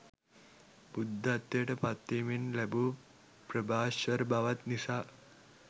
බුද්ධත්වයට පත්වීමෙන් ලැබූ ප්‍රභාෂ්වර බවත් නිසා